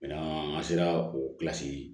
an sera o